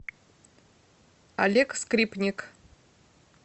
олег скрипник